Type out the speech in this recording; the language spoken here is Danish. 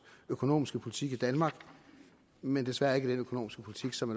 økonomiske politik i danmark men desværre ikke med den økonomiske politik som